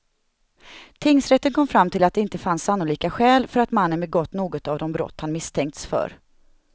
Tingsrätten kom fram till att det inte fanns sannolika skäl för att mannen begått något av de brott han misstänkts för.